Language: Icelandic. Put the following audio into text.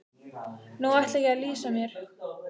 Nú ætla ég að lýsa mér.